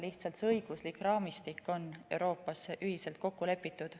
Lihtsalt see õiguslik raamistik on Euroopas ühiselt kokku lepitud.